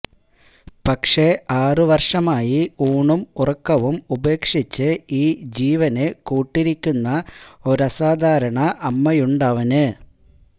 പക്ഷേ ആറുവര്ഷമായി ഊണും ഉറക്കവും ഉപേക്ഷിച്ച് ഈ ജീവന് കൂട്ടിരിക്കുന്ന ഒരാസാധാരണ അമ്മയുണ്ടവന്